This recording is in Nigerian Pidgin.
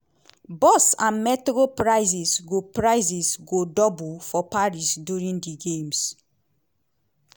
bus and metro prices go prices go double for paris during di games.